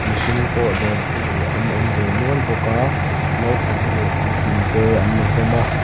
mihring pawh dawrtu an awm ve nual bawk a naupang leh puitling te an ni hlawm a.